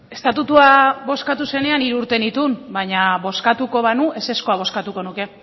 estatutua bozkatu zenean hiru urte nituen baina bozkatuko banu ezezkoa bozkatuko nuke